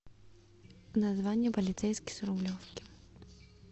название полицейский с рублевки